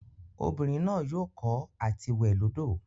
Obinrin naa yoo ko ati we lodo.